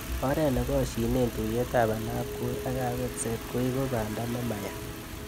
Oret ne koshine tuiyetab ainabkoi ak kabetset koeku banda nemaya